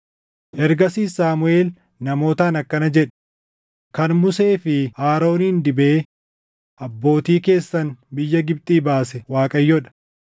Ergasiis Saamuʼeel namootaan akkana jedhe; “Kan Musee fi Aroonin dibee abbootii keessan biyya Gibxii baase Waaqayyoo dha.